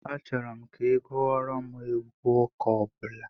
Achọrọ m ka ị gụọrọ m egwu ụka ọbụla